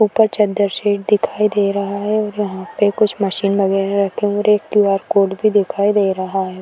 ऊपर चद्दर दिखाई दे रहा है और यहाँ पे कुछ मशीन वगैरह रखे क्यू आर कोड भी दिखाई दे रहा है।